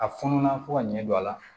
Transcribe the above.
A fɔnɔ na fo ka ɲɛ don a la